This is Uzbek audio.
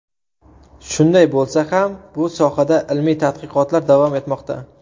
Shunday bo‘lsa ham, bu sohada ilmiy tadqiqotlar davom etmoqda.